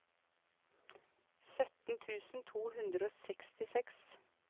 sytten tusen to hundre og sekstiseks